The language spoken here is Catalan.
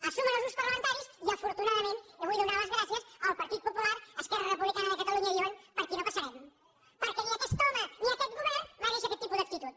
es sumen els grups parlamentaris i afortunadament i jo vull donar les gràcies el partit popular i esquerra republicana de catalunya diuen per aquí no hi passarem perquè ni aquest home ni aquest govern mereixen aquest tipus d’actitud